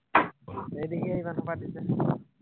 সেই দেহিহে ইমান সোপা দিছে।